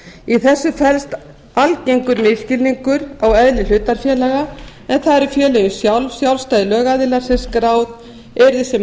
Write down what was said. í þessu felst algengur misskilningur á eðli hlutafélaga en það eru félögin sjálf sjálfstæðir lögaðilar sem skráð yrðu sem